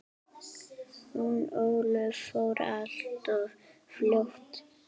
Hún Ólöf fór alltof fljótt.